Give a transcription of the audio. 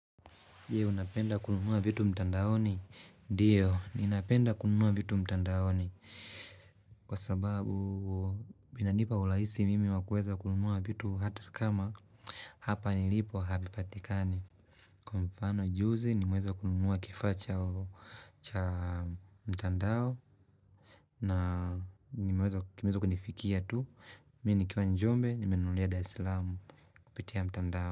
Je, unapenda kununua vitu mtandaoni? Ndiyo, ninapenda kununua vitu mtandaoni. Kwa sababu binanipa ulahisi mimi wa kuweza kununua vitu hata kama hapa nilipo havipatikani. Kwa mfano juzi nimeza kununua kifaa cha mtandao na nimeweza kumeza kunifikia tu. Mi nikiwa njombe, nimenulia dar islamu kupitia mtandao.